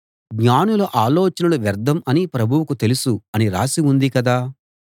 జ్ఞానుల ఆలోచనలు వ్యర్థం అని ప్రభువుకు తెలుసు అనీ రాసి ఉంది కదా